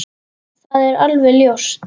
Það er alveg ljóst!